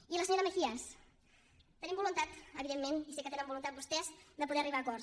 i a la senyora mejías tenim voluntat evidentment i sé que tenen voluntat vostès de poder arribar a acords